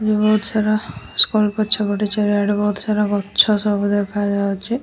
ବୋହୁତ ସାରା ସ୍କୁଲ ପଛପଟେ ଚାରିଆଡ଼େ ବୋହୁତ ସାରା ଗଛ ସବୁ ଦେଖାଯାଉଚି।